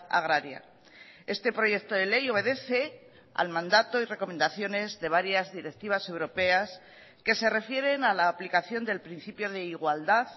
agraria este proyecto de ley obedece al mandato y recomendaciones de varias directivas europeas que se refieren a la aplicación del principio de igualdad